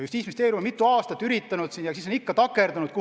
Justiitsministeerium on mitu aastat üritanud ja on ikka kuhugi takerdunud.